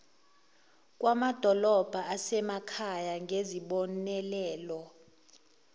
kwamadolobha asemakhaya ngezibonelelo